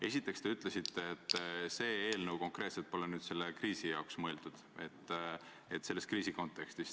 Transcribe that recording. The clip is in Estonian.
Esiteks te ütlesite, et see eelnõu konkreetselt pole sündinud praeguse kriisi kontekstis.